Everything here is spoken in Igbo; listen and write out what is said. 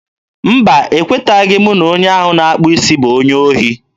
mba, e kweteghị m na onye ahụ na-akpụ isi bụ onye ohi.